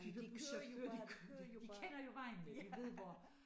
De der buschauffører de kørte de kender jo vejen ik de ved hvor